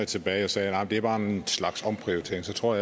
tilbage og sagde at det bare var en slags omprioritering så tror